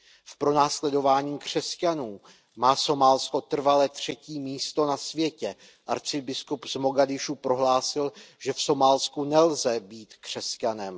V pronásledování křesťanů má Somálsko trvale třetí místo na světě. Arcibiskup z Mogadiša prohlásil, že v Somálsku nelze být křesťanem.